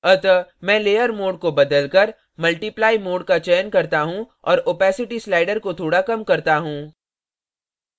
अतः मैं layer mode को बदलकर multiply multiply mode का चयन करता हूँ और opacity slider को थोड़ा कम करता हूँ